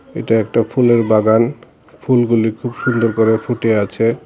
এটা একটা ফুলের বাগান ফুলগুলি খুব সুন্দর করে ফুটে আছে।